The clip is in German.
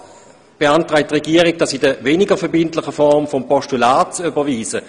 Auch hier beantragt die Regierung, dies in der weniger verbindlichen Form des Postulats zu überweisen.